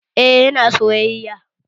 Eh, yana soyayya